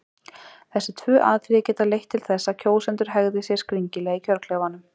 Þessi tvö atriði geta leitt til þess að kjósendur hegði sér skringilega í kjörklefanum.